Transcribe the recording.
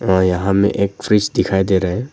यहां में एक फ्रिज दिखाई दे रहा है।